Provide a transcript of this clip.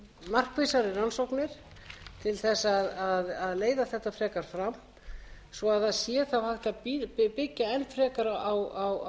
markvissari rannsóknir til þess að leiða þetta frekar fram svo að það sé þá hægt að byggja enn frekar á